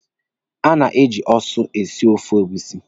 A na-eji eju esi ofe egusi.